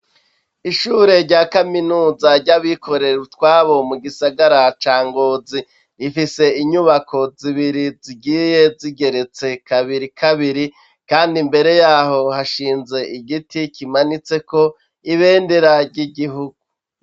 Ishure rya kaminuza ry'abikorera utwabo mu gisagara ca Ngozi. Rifise inyubako zibiri zigiye zigeretse kabiri kabiri, kandi mbere yaho hashinze igiti kimanitseko ibendera ry'igihugu.